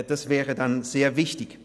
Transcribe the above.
Das wäre dann sehr wichtig.